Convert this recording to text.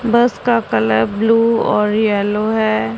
बस का colour blue और येलो है।